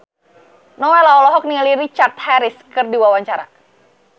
Nowela olohok ningali Richard Harris keur diwawancara